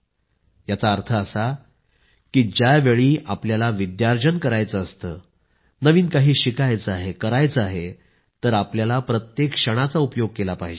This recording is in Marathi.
याचा अर्थ असा आहे की ज्यावेळी आपल्याला विद्यार्जन करायचे असते नवीन काही शिकायचे आहे करायचे आहे तर आपल्याला प्रत्येक क्षणाचा उपयोग केला पाहिजे